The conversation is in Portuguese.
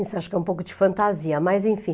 Isso acho que é um pouco de fantasia, mas enfim.